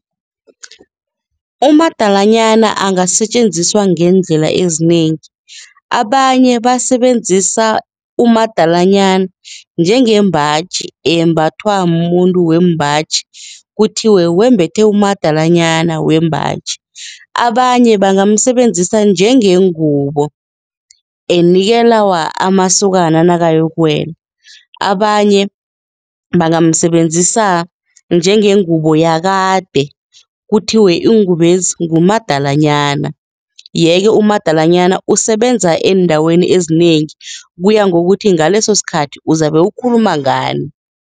Umadalanyana angasetjenziswa ngeendlela ezinengi, abanye basebenzisa umadalanyana njengembaji eyembathwa mumuntu wembaji kuthiwe wembethe umadalanyana wembaji. Abanye bangamsebenzisa njengengubo enikelwa amasokana nakayokuwela, abanye bangamsebenzisa njengengubo yakade, kuthiwe iingubezi ngumadalanyana, yeke umadalanyana usebenza eendaweni ezinengi kuya ngokuthi ngalesosikhathi uzabe ukhuluma ngani.